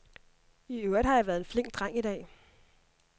I øvrigt har jeg været en flink dreng i dag.